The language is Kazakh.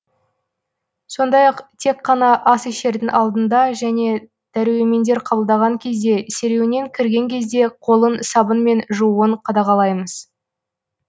сондай ақ тек қана ас ішердің алдында және дәрумендер қабылдаған кезде серуеннен кірген кезде қолын сабынмен жууын қадағалаймыз